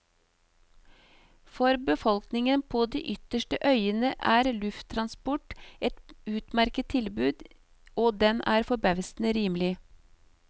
For befolkningen på de ytterste øyene er lufttransport et utmerket tilbud, og den er forbausende rimelig.